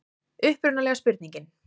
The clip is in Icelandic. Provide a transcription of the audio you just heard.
Upprunalega spurningin: